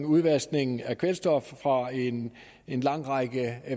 udvaskning af kvælstof fra en en lang række